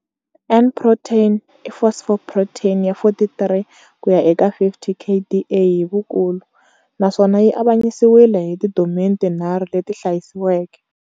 N protein i phosphoprotein ya 43 kuya eka 50 kDa hi vukulu, naswona yi avanyisiwile hi tidomeni tinharhu leti hlayisiweke.